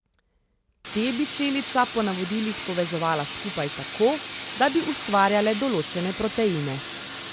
Te bi celica po navodilih povezala skupaj tako, da bi ustvarjale določene proteine.